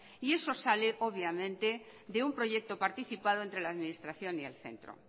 y eso sale obviamente de un proyecto participado entre la administración el centro